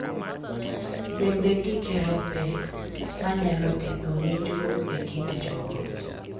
Bende, gikelo pek manyalo ketho winjruok e kind joot .